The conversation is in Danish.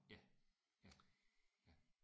Ja ja ja